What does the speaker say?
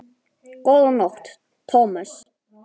Góða nótt, Thomas